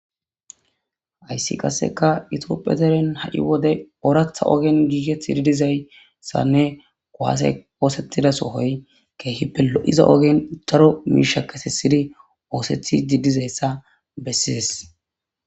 Hayssi qasseka itophiya deren ha7i wode ooratha ogen giigeth ididizayssanne goaase oosettida sohoy keehippe lo7iza ogen taro miisha kesi sidi oosethi diidizayssa bessides